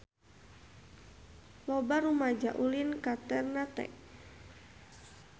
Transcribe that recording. Loba rumaja ulin ka Ternate